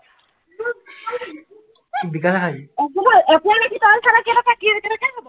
কি কয়, এপোৱা গাখীৰ তই খালে, কেইটকা, কেনেকে হব?